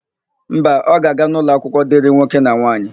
Mba, ọ ga-aga n'ụlọakwụkwọ dịrị nwoke na nwaanyị.